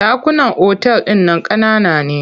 Ɗakunan otal ɗin nan ƙanana ne.